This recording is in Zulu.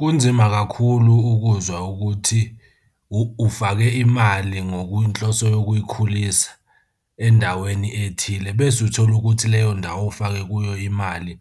Kunzima kakhulu ukuzwa ukuthi ufake imali ngokwenhloso yokuyikhulisa endaweni ethile bese uthola ukuthi leyo ndawo ofake kuyo imali,